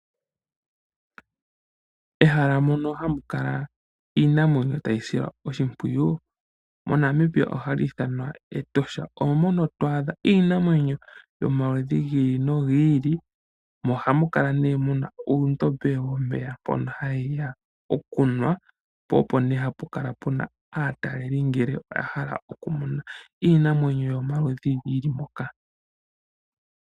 Ehala mono hamu kala iinamwenyo tayi silwa oshimpwiyu, moNamibia ohali ithanwa Etosha. Omo moka to adha iinamwenyo yomaludhi gi ili nogi ili nohamu kala nduno mu na uundombe womeya mpono hayi ya okunwa po opo nduno hapu kala pu na aatalelipo, ngele oya hala okumona iinamwenyo yomaludhi yi li moka.